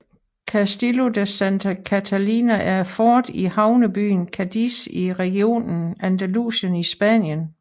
Castillo de Santa Catalina er et fort i havnebyen Cadiz i regionen Andalusien i Spanien